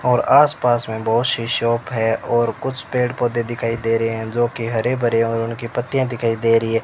और आस पास में बहोत सी शॉप है और कुछ पेड़ पौधे दिखाई दे रहे हैं जो कि हरे भरे है और उनकी पत्तियां दिखाई दे रही है।